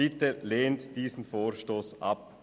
Bitte lehnen Sie diesen Vorstoss ab.